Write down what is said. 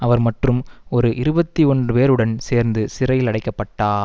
அவர் மற்றும் ஒரு இருபத்தி ஒன்று பேருடன் சேர்த்து சிறையில் அடைக்கப்பட்டா